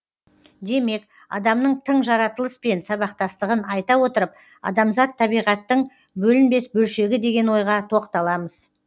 демек адамның тың жаратылыспен сабақтастығын айта отырып адамзат табиғаттың бөлінбес бөлшегі деген ойға тоқталамыз